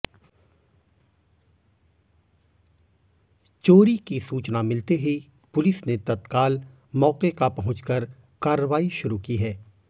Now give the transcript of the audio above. चोरी की सूचना मिलते ही पुलिस ने तत्काल मौके का पहुंचकर कार्रवाई शुरू की है